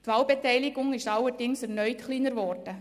Die Wahlbeteiligung ist allerdings erneut kleiner geworden.